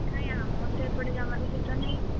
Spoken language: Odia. କାଇଁ ଆମର ତ ଏପଟେ ଜମାବି ଶୀତ ନାହିଁ।